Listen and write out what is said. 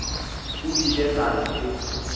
o ile a re ge